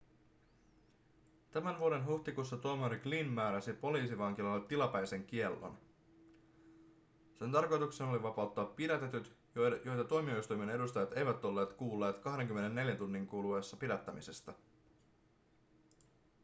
tämän vuoden huhtikuussa tuomari glynn määräsi poliisivankilalle tilapäisen kiellon sen tarkoituksena oli vapauttaa pidätetyt joita tuomioistuimen edustajat eivät olleet kuulleet 24 tunnin kuluessa pidättämisestä